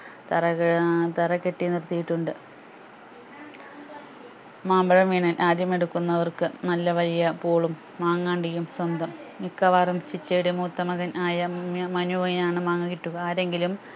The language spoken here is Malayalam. തറ ക ഏർ തറകെട്ടിനിർത്തിയിട്ടുണ്ട് മാമ്പഴം വീണാൽ ആദ്യം എടുക്കുന്നവർക്ക് നല്ല വലിയ പൂളും മാങ്ങ അണ്ടിയും സ്വന്തം മിക്കവാറും ചിറ്റയുടെ മൂത്തമകൻ ആയ ഉം മനുവിന് ആണ് മാങ്ങ കിട്ടുക ആരെങ്കിലും